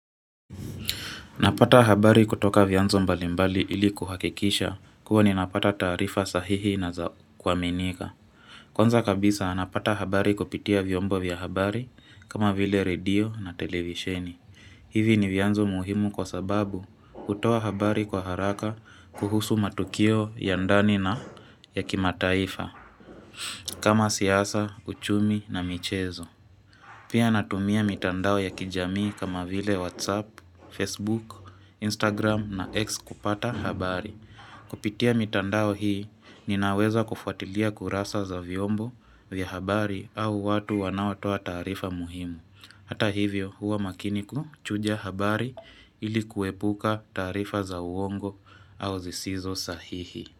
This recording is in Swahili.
Napata habari kutoka vyanzo mbalimbali ili kuhakikisha kuwa ninapata taarifa sahihi na zao kuaminika. Kwanza kabisa napata habari kupitia vyombo vya habari kama vile radio na televisheni. Hivi ni vyanzo muhimu kwa sababu hutoa habari kwa haraka kuhusu matukio ya ndani na ya kimataifa kama siasa, uchumi na michezo. Pia natumia mitandao ya kijamii kama vile Whatsapp, Facebook, Instagram na X kupata habari. Kupitia mitandao hii ninaweza kufuatilia kurasa za vyombo vya habari au watu wanaotoa taarifa muhimu. Hata hivyo huwa makini kuchuja habari ili kuepuka taarifa za uongo au zisizo sahihi.